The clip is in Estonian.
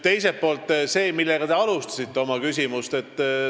Teiselt poolt see, millega te oma küsimust alustasite.